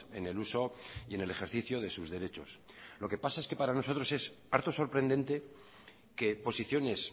en el uso y en el ejercicio de sus derechos lo que pasa es que para nosotros es harto sorprendente que posiciones